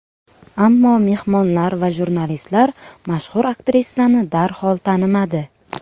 Ammo mehmonlar va jurnalistlar mashhur aktrisani darhol tanimadi.